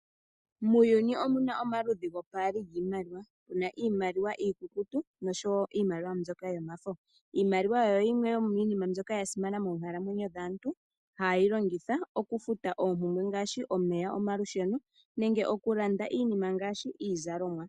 Muuyuni omuna omaludhi gopaali giimaliwa, muna iimaliwa iikukutu nosho wo iimaliwa mbyoka yomafo. Iimaliwa oyo yimwe tomiinima mbyoka yasimana moonkalamwenyo dhaantu hayeyi longitha okufuta oompumbwe ngaashi, omeya, omalusheno nenge okulanda iinima ngaashi iizalomwa.